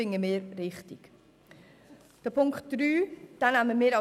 Die Ziffer 3 nehmen wir an.